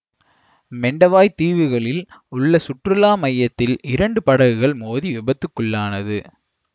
Mentawai தீவுகளில் உள்ள சுற்றுலா மையத்தில் இரண்டு படகுகள் மோதி விபத்துக்குள்ளானது